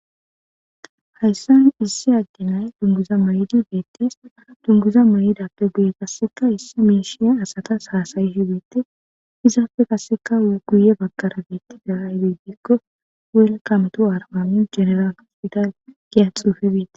Hayisan issi adde nay duniguza mayidi betes duniguza mayidappe qaseka issi mishsha asatas hasayishe betes izappe qaseka guye bagara betizay ayibe gikko welkam tu ariba mince giya xife betes.